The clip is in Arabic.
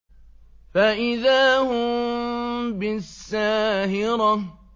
فَإِذَا هُم بِالسَّاهِرَةِ